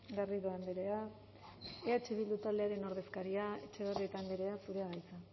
garrido andrea eh bildu taldearen ordezkaria etxebarrieta andrea zurea da hitza